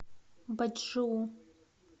бачжоу